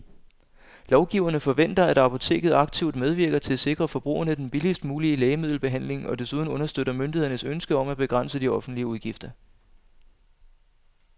Lovgiverne forventer, at apoteket aktivt medvirker til at sikre forbrugerne den billigst mulige lægemiddelbehandling og desuden understøtter myndighedernes ønske om at begrænse de offentlige udgifter.